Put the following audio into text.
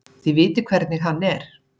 Þið vitið hvernig hann er.